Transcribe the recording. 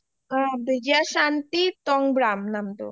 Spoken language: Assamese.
বিজয়া shanti টনগ্ৰাম নামটো